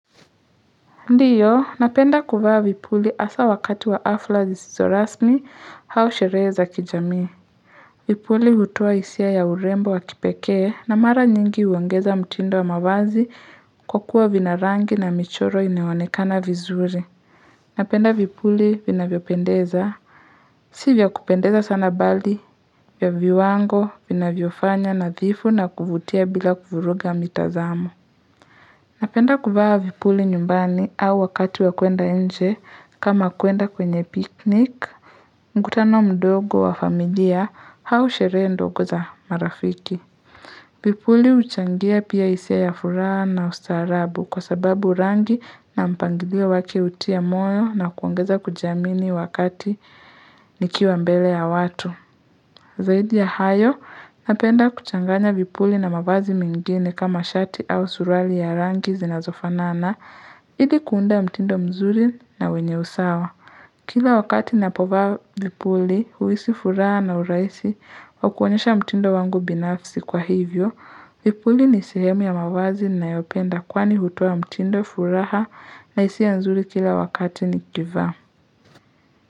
Ndiyo, napenda kuvaa vipuli hasa wakati wa hafla zisizo rasmi au sherehe za kijamii. Vipuli hutoa hisia ya urembo wa kipekee na mara nyingi huongeza mtindo wa mavazi kwa kuwa vina rangi na michoro inayoonekana vizuri. Napenda vipuli vinavyopendeza. Si vya kupendeza sana bali, vya viwango vinavyo fanya nadhifu na kuvutia bila kuvuruga mitazamo. Napenda kuvaa vipuli nyumbani au wakati wa kuenda nje kama kuenda kwenye picnic, mkutano mdogo wa familia au sherehe ndogo za marafiki. Vipuli huchangia pia hisia ya furaha na ustarabu kwa sababu rangi na mpangilio wake hutia moyo na kuongeza kujiamini wakati nikiwa mbele ya watu. Zaidi ya hayo, napenda kuchanganya vipuli na mavazi mengine kama shati au suruali ya rangi zinazofanana, ili kuunda mtindo mzuri na wenye usawa. Kila wakati napovaa vipuli, huhisi furaha na urahisi, wa kuonyesha mtindo wangu binafsi kwa hivyo, vipuli ni sehemu ya mavazi ninayopenda kwani hutoa mtindo furaha na hisia nzuri kila wakati nikivaa.